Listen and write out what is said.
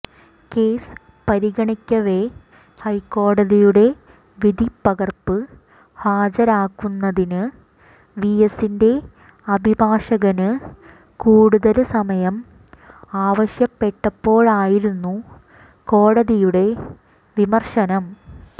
case പരിഗണിക്കവെ ഹൈക്കോടതിയുടെ വിധിപ്പകര്പ്പ് ഹാജരാക്കുന്നതിന് വിഎസിന്റെ അഭിഭാഷകന് കൂടുതല് സമയം ആവശ്യപ്പെട്ടപ്പോഴായിരുന്നു കോടതിയുടെ വിമര്ശനം